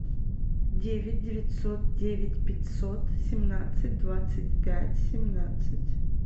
девять девятьсот девять пятьсот семнадцать двадцать пять семнадцать